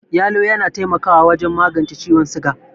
Yalo yana taimakawa wajen magence ciwon siga.